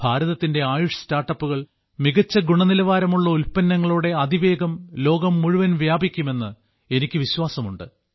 ഭാരതത്തിന്റെ ആയുഷ് സ്റ്റാർട്ടപ്പുകൾ മികച്ച ഗുണനിലവാരമുള്ള ഉൽപ്പന്നങ്ങളോടെ അതിവേഗം ലോകം മുഴുവൻ വ്യാപിക്കുമെന്ന് എനിക്ക് വിശ്വാസമുണ്ട്